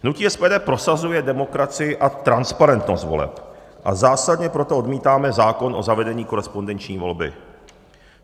Hnutí SPD prosazuje demokracii a transparentnost voleb, a zásadně proto odmítáme zákon o zavedení korespondenční volby.